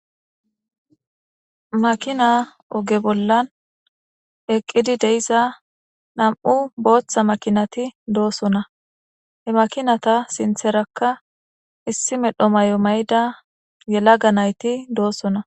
Makina oge bollan eqqidi deiza nam'u booththa makinati doosona he makinata sintherakka issi medho may'o mayda yelaga nayti doosona